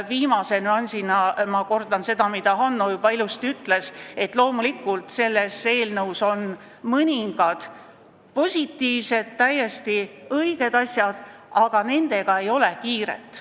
Viimase nüansina kordan seda, mida Hanno juba ilusasti ütles, et loomulikult on selles eelnõus mõningad positiivsed, täiesti õiged asjad, aga nendega ei ole kiiret.